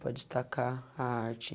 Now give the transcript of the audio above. Para destacar a arte.